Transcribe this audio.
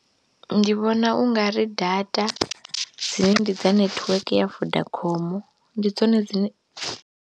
Ndi vhona u ngari data dzine ndi dza netiweke ya Vodacom ndi dzone dzine.